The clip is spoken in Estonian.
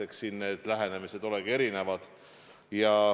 Eks siin need lähenemised olegi erinevad.